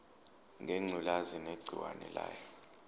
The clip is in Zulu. ngengculazi negciwane layo